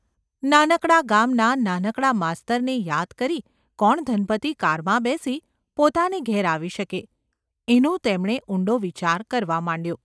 નાનકડા ગામના નાનકડા માસ્તરને યાદ કરી કોણ ધનપતિ કારમાં બેસી પોતાને ઘેર આવી શકે; એનો તેમણે ઊંડો વિચાર કરવા માંડ્યો.